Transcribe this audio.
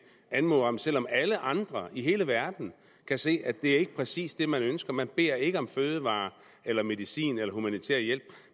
anmoder om selv om alle andre i hele verden kan se at det ikke præcis er det man ønsker man beder ikke om fødevarer eller medicin eller humanitær hjælp